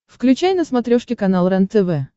включай на смотрешке канал рентв